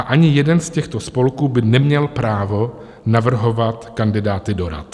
A ani jeden z těchto spolků by neměl právo navrhovat kandidáty do rad.